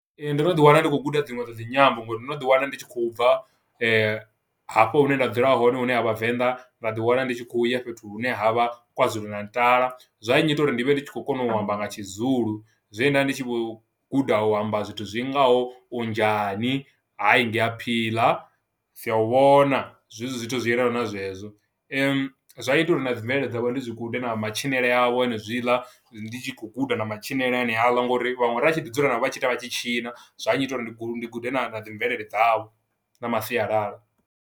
Ee ndo no ḓiwana ndi khou guda dzinwe dza dzinyambo ngori ndo no ḓi wana ndi tshi khou bva hafho hune nda dzula hone hune ha vhavenḓa nda ḓi wana ndi tshi khou ya fhethu hune ha vha kwazulu natala, zwa nnyita uri ndi vhe ndi khou kona u amba nga tshizulu zwe nda ndi tshi vho guda u amba zwithu zwi ngaho unjani hai ngiyaphila sia u vhona , zwezwo zwithu zwi yelana na zwezwo. zwa ita uri na dzi mvelele dzavhuḓi zwi gude matshilele awe hone zwiḽa ndi tshi khou guda na matshinele ani haaḽa ngori vhaṅwe vha tshi ḓi dzula navho vha tshi ita vha tshi tshina, zwa nnyita uri ndi gude na dzi mvelele dzavho na masialala.